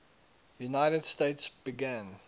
united states began